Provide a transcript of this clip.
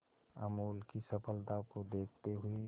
अमूल की सफलता को देखते हुए